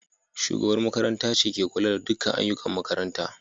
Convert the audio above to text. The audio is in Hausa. Shugabar makaranta ce ke kula da dukkan ayyukan makaranta.